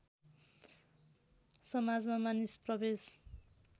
समाजमा मानिस प्रवेश